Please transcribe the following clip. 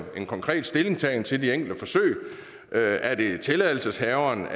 en konkret stillingtagen til de enkelte forsøg er er det tilladelseshaverens